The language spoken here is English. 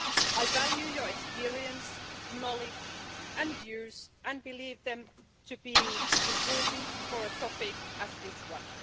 I value your experience, knowledge and views and believe them to be important for a topic such as this one.